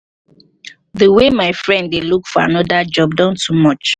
the way my friend dey look for another job don too much